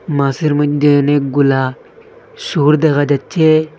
মাছের মইধ্যে অনেকগুলা সুর দেখা যাচ্ছে।